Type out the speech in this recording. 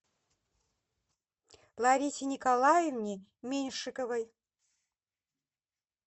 ларисе николаевне меньшиковой